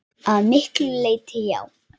Að miklu leyti já.